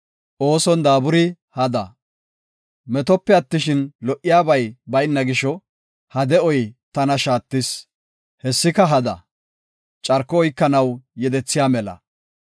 Metope attishin, go77iyabay bayna gisho, ha de7oy tana shaattis. Hessika hada; carko oykanaw yedethiya mela.